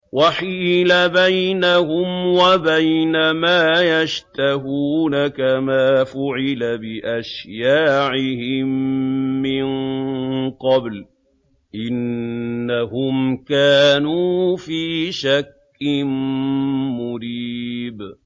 وَحِيلَ بَيْنَهُمْ وَبَيْنَ مَا يَشْتَهُونَ كَمَا فُعِلَ بِأَشْيَاعِهِم مِّن قَبْلُ ۚ إِنَّهُمْ كَانُوا فِي شَكٍّ مُّرِيبٍ